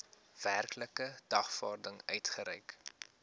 werklike dagvaarding uitgereik